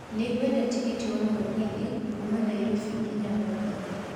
Nĩ ngwenda tigiti wa mũgithi kuuma Nairobi nginya mombatha